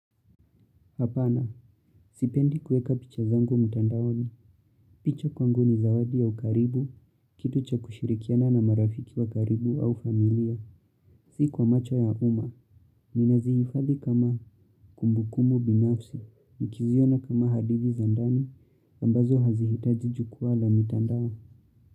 Hapana, sipendi kuweka picha zangu mtandaoni, picha kwangu ni zawadi ya ukaribu, kitu cha kushirikiana na marafiki wa karibu au familia, si kwa macho ya umma, ni nazihifadhi kama kumbukumbu binafsi, nikiziona kama hadithi zandani, ambazo hazihitaji jukwaa la mitandao.